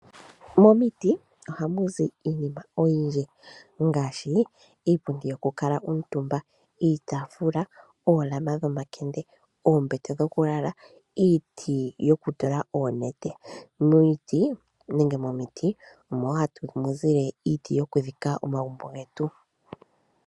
Momiti ohamu zi iinima oyindji ngaashi iipundi yoku kala omutumba, iitafula, oolama dhomakende, oombete dhoku lala, iiti yoku tula oonete. Miiti nenge momiti omo hamu tu zile iiti yoku dhika omagumbo getu.